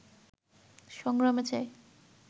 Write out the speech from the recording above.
সংগ্রামে চাই